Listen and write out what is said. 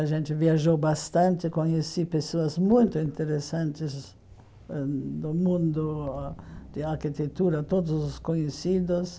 A gente viajou bastante, conheci pessoas muito interessantes ãh do mundo de arquitetura, todos os conhecidos.